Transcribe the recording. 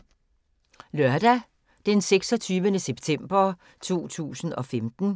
Lørdag d. 26. september 2015